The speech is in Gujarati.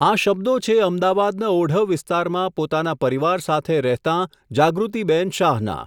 આ શબ્દો છે અમદાવાદના ઓઢવ વિસ્તારમાં પોતાના પરિવાર સાથે રહેતાં જાગૃતિબહેન શાહના.